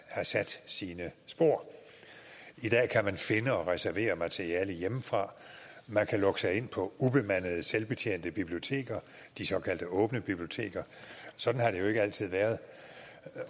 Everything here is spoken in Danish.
har sat sine spor i dag kan man finde og reservere materiale hjemmefra man kan lukke sig ind på ubemandede selvbetjente biblioteker de såkaldt åbne biblioteker sådan har det jo ikke altid været